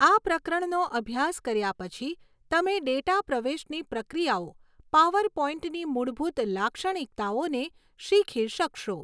આ પ્રકરણનો અભ્યાસ કર્યા પછી તમે ડેટા પ્રવેશની પ્રક્રિયાઓ, પાવરપોઇન્ટની મૂળભૂત લાક્ષણિકતાઓને શીખી શકશો.